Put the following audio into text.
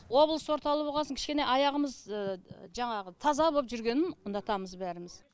облыс орталығы болғасын кішкене аяғымыз таза боп жүргенін ұнатамыз бәріміз